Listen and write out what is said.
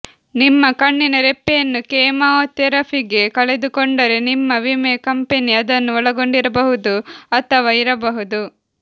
ನಿಮ್ಮ ಕಣ್ಣಿನ ರೆಪ್ಪೆಯನ್ನು ಕೆಮೊಥೆರಪಿಗೆ ಕಳೆದುಕೊಂಡರೆ ನಿಮ್ಮ ವಿಮೆ ಕಂಪನಿ ಅದನ್ನು ಒಳಗೊಂಡಿರಬಹುದು ಅಥವಾ ಇರಬಹುದು